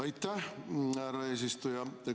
Aitäh, härra eesistuja!